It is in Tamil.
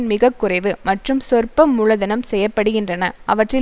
மிகக்குறைவு மற்றும் சொற்ப மூலதனம் செய்ய படுகின்றன அவற்றில்